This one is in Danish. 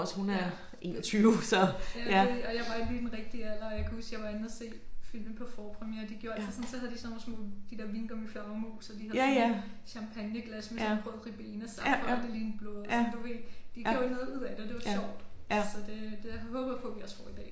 Ja det jo det og jeg var i lige i den rigtige alder og jeg kan huske jeg var inde og se filmen på forpremiere de gjorde altid sådan så havde de sådan nogle små de der vingummiflagermus og de havde sådan champagneglas med sådan rød Ribenasaft og det lignede blod og sådan du ved de gjorde noget ud af det og det var sjovt så det det håber jeg vi også får i dag